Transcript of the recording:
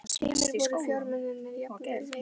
Heimir: Voru fjármunirnir jafnvel meiri þá?